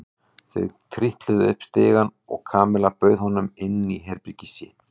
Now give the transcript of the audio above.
Þau trítluðu upp stigann og Kamilla bauð honum inn í herbergið sitt.